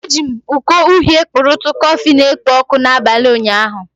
Eji m iko uhie kpurutu kọfị na-ekpo ọkụ n'abalị ụnyaahụ.